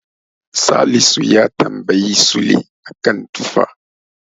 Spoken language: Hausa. Salisu ya tamabyi Sule a kan tufa.